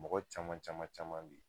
Mɔgɔ caman caman caman be yen